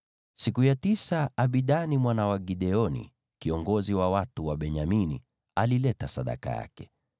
Siku ya tisa Abidani mwana wa Gideoni, kiongozi wa watu wa Benyamini, alileta sadaka yake.